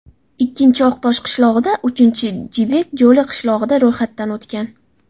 Ikkinchisi Oqtosh qishlog‘ida, uchinchisi Jibek Jo‘li qishlog‘ida ro‘yxatdan o‘tgan.